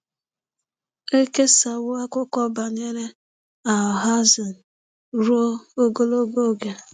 Ekesawo akụkọ banyere Alhazen ruo ogologo oge.